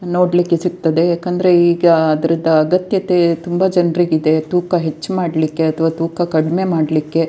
ನೋಡ್ಲಿಕ್ಕೆ ಸಿಗ್ತದೆ ಯಾಕಂದ್ರೆ ಈಗ ಆದ್ರದ ಅಗತ್ಯತೆ ತುಂಬಾ ಜನ್ರಿಗೆ ಇದೆ ತೂಕ ಹೆಚ್ ಮಾಡ್ಲಿಕ್ಕೆ ಅಥವಾ ತೂಕ ಕಡಿಮೆ ಮಾಡ್ಲಿಕ್ಕೆ --